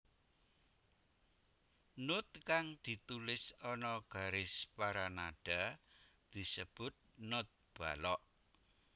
Not kang ditulis ana garis paranada disebat not balok